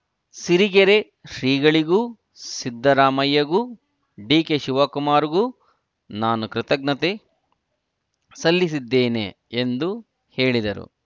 ಸಿರಿಗೆರೆ ಶ್ರೀಗಳಿಗೂ ಸಿದ್ದರಾಮಯ್ಯಗೂ ಡಿಕೆಶಿವಕುಮಾರ್‌ಗೂ ನಾನು ಕೃತಜ್ಞತೆ ಸಲ್ಲಿಸಿದ್ದೇನೆ ಎಂದು ಹೇಳಿದರು